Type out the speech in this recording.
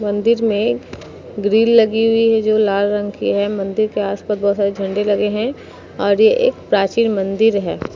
मंदिर में गिरिल लगी हुई है जो लाल रंग की है। मंदिर के आस-पास बहोत सारे झंडे लगे हैं और ये एक प्राचीन मंदिर है।